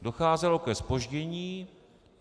Docházelo ke zpoždění.